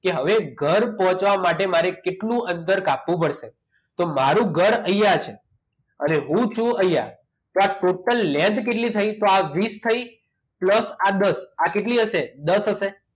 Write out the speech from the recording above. કે હવે ઘર પહોંચવા માટે મારે કેટલું અંતર કાપવું પડશે તો મારું ઘર અહીંયા છે અને હું જો અહીંયા તો આ total length કેટલી થઈ તો આ વીસ થઈ plus આ દસ આ કેટલી હશે દસ હશે